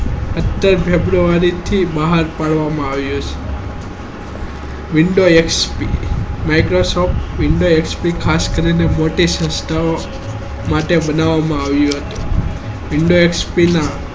સત્તર february થી બહાર પાડવા માં આવે છે window xp microsoft window xp ખાસ કરીને મોથી સંસ્થાઓ માટે બનવા માં આવે છે window xp ના